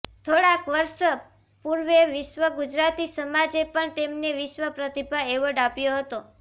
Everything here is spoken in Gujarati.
થોડાંક વર્ષ પૂર્વે વિશ્વ ગુજરાતી સમાજે પણ તેમને વિશ્વ પ્રતિભા એવોર્ડ આપ્યો હતો